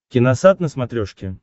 киносат на смотрешке